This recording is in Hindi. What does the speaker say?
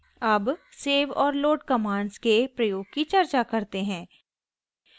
अब save और load कमांड्स के प्रयोग की चर्चा करते हैं